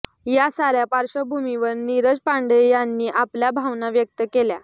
या साऱ्या पार्श्वभूमीवर नीरज पांडे यांनी आपल्या भावना व्यक्त केल्या